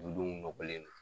Dudenw nɔgɔlen do